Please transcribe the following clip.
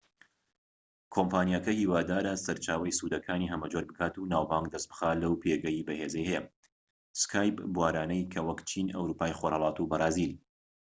کۆمپانیاکە هیوادارە سەرچاوەی سوودەکانی هەمە جۆر بکات و ناوبانگ دەست بخات لەو بوارانەی کە skype پێگەی بەهێزی هەیە وەک چین ئەوروپای خۆرهەڵات و بەرازیل